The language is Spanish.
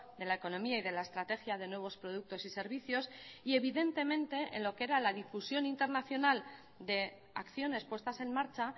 de la economía y de la estrategia de nuevos productos y servicios y evidentemente en lo que era la difusión internacional de acciones puestas en marcha